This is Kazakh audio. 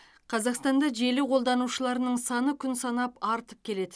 қазақстанда желі қолданушыларының саны күн санап артып келеді